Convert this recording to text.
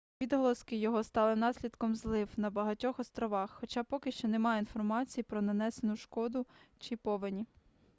відголоски його стали наслідком злив на багатьох островах хоча поки що немає інформації про нанесену шкоду чи повені